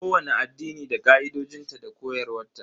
Kowani addini da ka'idojinta da koyarwa ta.